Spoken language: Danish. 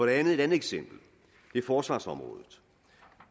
andet eksempel er forsvarsområdet